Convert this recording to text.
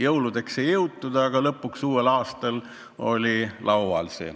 Jõuludeks ei jõutud, aga uue aasta alguses oli see laual.